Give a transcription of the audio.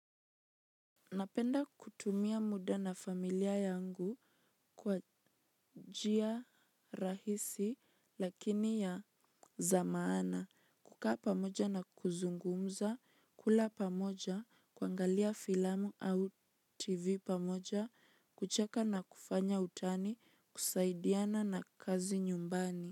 Napenda kutumia muda na familia yangu kwa njia rahisi lakini ya zamaana. Kukaa pamoja na kuzungumza, kula pamoja, kuangalia filamu au tv pamoja, kucheka na kufanya utani, kusaidiana na kazi nyumbani.